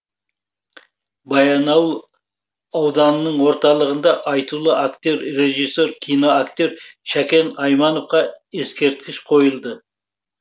баянауыл ауданының орталығында айтулы актер режиссер киноактер шәкен аймановқа ескерткіш қойылды